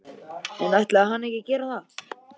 En ætlaði hann að gera það?